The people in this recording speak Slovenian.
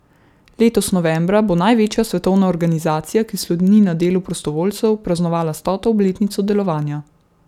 Letos novembra bo največja svetovna organizacija, ki sloni na delu prostovoljcev, praznovala stoto obletnico delovanja.